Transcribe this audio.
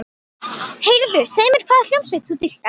Heyrðu, segðu mér hvaða hljómsveit þú dýrkar.